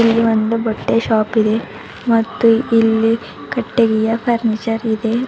ಇದು ಒಂದು ಬಟ್ಟೆ ಶಾಪಿದೆ ಮತ್ತು ಇಲ್ಲಿ ಕಟ್ಟೆಗೆಯ ಫರ್ನಿಚರ್ ಇದೆ.